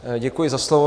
Děkuji za slovo.